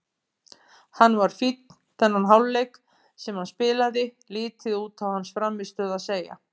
Hann var fínn þennan hálfleik sem hann spilaði, lítið út á hans frammistöðu að segja.